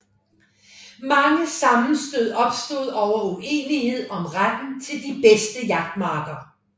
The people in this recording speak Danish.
Mange sammenstød opstod over uenighed om retten til de bedste jagtmarker